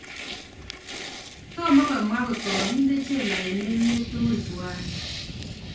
Tomo komwaa ngot kakindee jela eng emet tugul twai